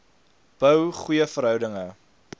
bou goeie verhoudinge